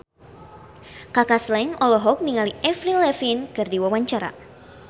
Kaka Slank olohok ningali Avril Lavigne keur diwawancara